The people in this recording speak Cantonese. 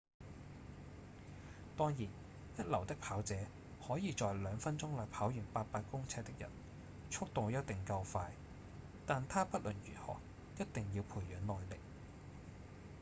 當然一流的跑者可以在兩分鐘內跑完八百公尺的人速度一定夠快但他不論如何一定要培養耐力